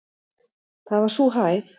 Það var sú hæð.